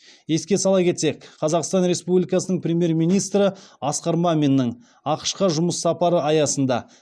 еске сала кетсек қазақстан республикасының премьер министрі асқар маминнің ақш қа жұмыс сапары аясында